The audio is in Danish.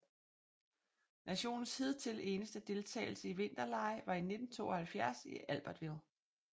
Nationens hidtil eneste deltagelse i vinterlege var i 1972 i Albertville